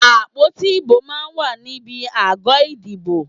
Àpótí ìbò máa ń wà níbi àgọ́ ìdìbò.